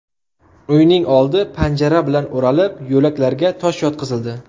Uyning oldi panjara bilan o‘ralib, yo‘laklarga tosh yotqizildi.